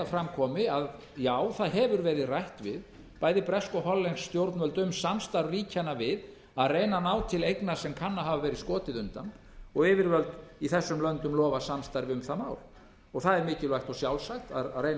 fram komi að já það hefur verið rætt við bæði bresk og hollensk stjórnvöld um samstarf ríkjanna við að reyna að ná til eigna sem kann að hafa verið skotið undan og yfirvöld í þessum löndum lofað samstarfi um það mál það er mikilvægt og sjálfsagt að reyna